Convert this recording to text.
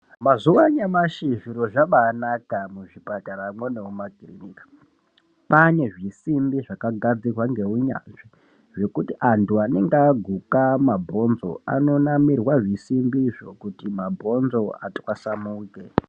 Mazuwaanyamashi zviro zvabaanaka muzvipataramwo nemumakiriniki kwaane zvisimbi zvakagadzirwa ngeunyanzvi zvekuti anthu anenge aguka mabhonzo anonamirwa zvisimbizvo kuti mabhonzo atwasanuke.